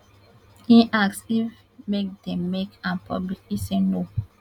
im ask if make dem make am public e say no